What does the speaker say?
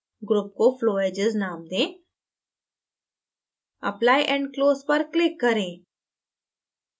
group को flow edges name दें apply and close पर click करें